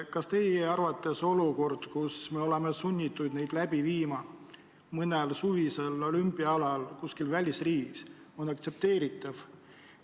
Kas teie arvates olukord, kus me oleme sunnitud neid läbi viima mõnel suvisel olümpiaalal kuskil välisriigis, on aktsepteeritav?